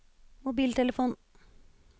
mobiltelefon